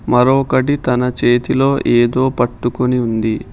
మరొకటి తన చేతిలో ఎదో పట్టుకొని ఉంది.